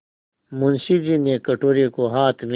मुंशी जी ने कटोरे को हाथ में